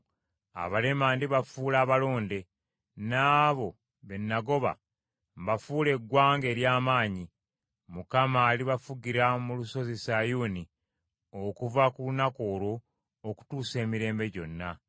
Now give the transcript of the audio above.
Abalema ndibafuula abalonde, n’abo be nagoba, mbafuule eggwanga ery’amaanyi. Mukama alibafugira mu Lusozi Sayuuni okuva ku lunaku olwo okutuusa emirembe gyonna.